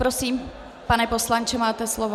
Prosím, pane poslanče, máte slovo.